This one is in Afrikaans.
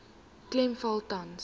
klem val tans